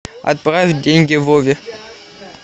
отправить деньги вове